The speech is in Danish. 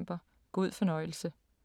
God fornøjelse.